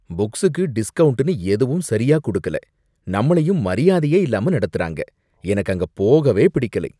புக்ஸுக்கு டிஸ்கவுண்ட்னு எதுவும் சரியா குடுக்கல, நம்மளையும் மரியாதையே இல்லாம நடத்துறாங்க. எனக்கு அங்க போகவே பிடிக்கலை.